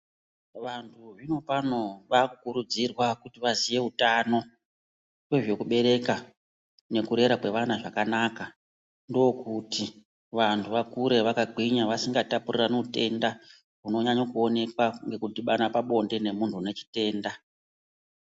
Vantu zvino pano vakukuridzirwa kuti vaziye hutano wezvekubereka nekurera kwevana zvakanaka ndokuti vantu vakure vakagwinya vasingataputirane utenda unonyanye kuoneka nekutibana pabonde memuntu ane chitenda